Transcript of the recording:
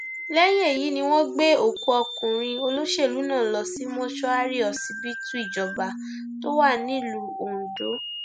lẹyìn èyí ni wọn gbé òkú ọkùnrin olóṣèlú náà lọ sí mọṣúárì ọsibítù ìjọba tó wà nílùú ondo